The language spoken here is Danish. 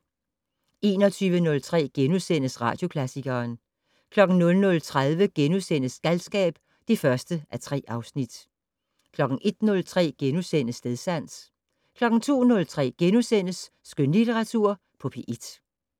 21:03: Radioklassikeren * 00:30: Galskab (1:3)* 01:03: Stedsans * 02:03: Skønlitteratur på P1 *